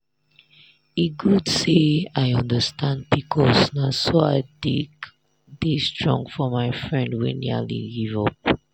e good say i understand pcos na so i take dey strong for my friend wey nearly give up.